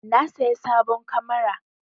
Na saya sabon kamara.